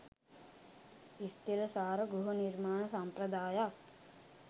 ස්ථිරසාර ගෘහ නිර්මාණ සම්ප්‍රදායක්